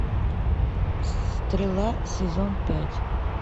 стрела сезон пять